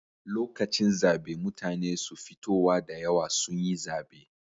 Lokacin zabe mutane su fitowa da yawa sun yi zabe